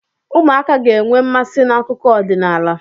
Ụmụaka ga-enwe nmasị n'akụkọ ọdịnala.